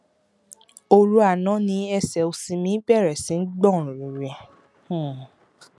oru àná ni ẹsẹ òsì mi bẹrẹ sí gbọn rìrì um